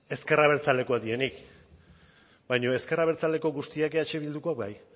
ezker abertzalekoak direnik baina ezker abertzaleko guztiak eh bildukoak bai